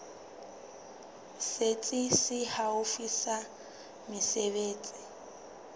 setsi se haufi sa mesebetsi